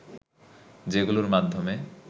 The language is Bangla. যেগুলোর মাধ্যমে